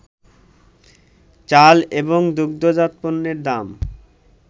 চাল এবং দুগ্ধজাত পণ্যের দাম